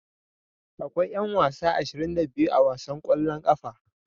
Akwai yan wasa 22 a wasan kwallon kafa.